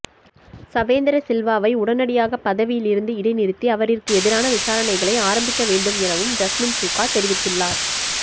சவேந்திரசில்வாவை உடனடியாக பதவியிலிருந்து இடைநிறுத்தி அவரிற்கு எதிரான விசாரணைகளை ஆரம்பிக்கவேண்டும் எனவும் ஜஸ்மின் சூக்கா தெரிவித்துள்ளார்